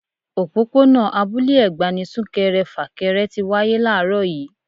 Òpópónà Abúlé Ẹ̀gbá ni sunkẹrẹ fakẹrẹ tí wáyé làárọ̀ yii